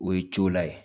O ye cola ye